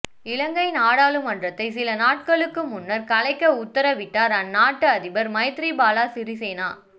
இலங்கை நாடாளுமன்றத்தை சில நாட்களுக்கு முன்னர் கலைக்க உத்தரவிட்டார் அந்நாட்டு அதிபர் மைத்ரிபால சிறிசேனா